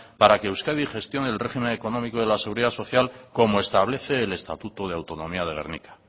para que euskadi gestione el régimen económico de la seguridad social como establece el estatuto de autonomía de gernika